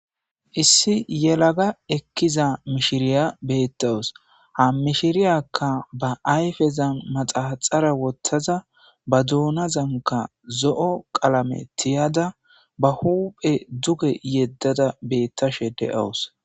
Issi yelaga ekkiza mishiriya beettawus ha mishiriyakka ba ayfezan maxaxara wottaza ba duuna zanka zo'o qalame tiyada ba huphe duge yeddada beettashe de7awus.